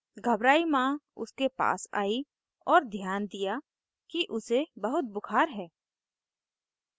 घबराई माँ उसके पास a और ध्यान दिया कि उसे बहुत बुखार है